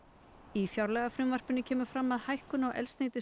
í fjárlagafrumvarpinu kemur fram að hækkun á